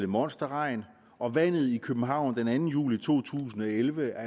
monsterregn og vandet i københavn den anden juli to tusind og elleve er